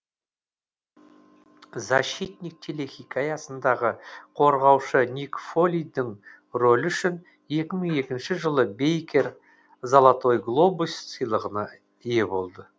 защитник телехикаясындағы қорғаушы ник фолидің рөлі үшін екі мың екінші жылы бейкер золотой глобус сыйлығына ие болды